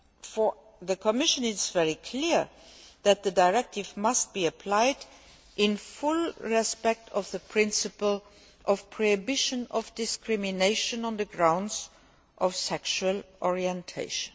For the Commission, it is very clear that the directive must be applied with full respect for the principle of the prohibition of discrimination on the grounds of sexual orientation.